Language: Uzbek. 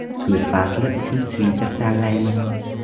Kuz fasli uchun sviter tanlaymiz.